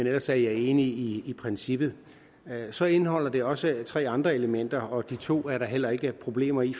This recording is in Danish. ellers er jeg enig i princippet så indeholder det også tre andre elementer og de to er der heller ikke problemer i